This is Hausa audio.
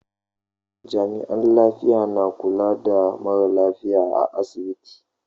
Jami'an lafiya na kula da mara lafiya a asibiti.